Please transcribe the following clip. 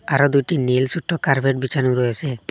আরও দুটি নীল ছোট্টো কার্পেট বিছানো রয়েসে।